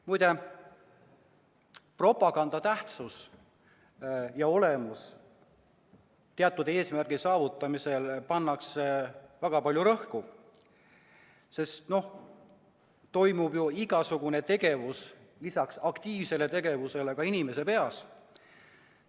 Muide, propaganda tähtsus ja olemus – teatud eesmärgi saavutamisel pannakse sellele väga suurt rõhku, sest toimub ju igasugune tegevus lisaks aktiivsele tegevusele ka inimese peas.